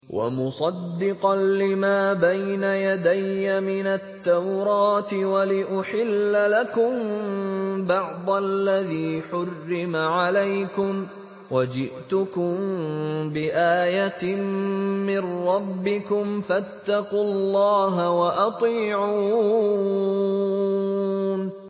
وَمُصَدِّقًا لِّمَا بَيْنَ يَدَيَّ مِنَ التَّوْرَاةِ وَلِأُحِلَّ لَكُم بَعْضَ الَّذِي حُرِّمَ عَلَيْكُمْ ۚ وَجِئْتُكُم بِآيَةٍ مِّن رَّبِّكُمْ فَاتَّقُوا اللَّهَ وَأَطِيعُونِ